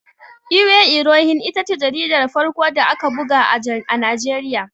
Iwe Irohin ita ce jaridar farko da aka buga a Najeriya.